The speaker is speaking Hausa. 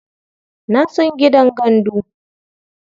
Na san gidan gandu.